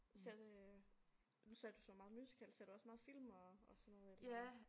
Selv øh nu sagde du så meget musical ser du også meget film og og sådan noget eller hvad